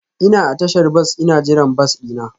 Ina a tashar bas ina jiran bas dina.